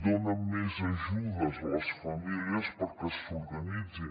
donen més ajudes a les famílies perquè s’organitzin